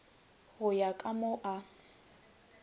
go ya ka mo a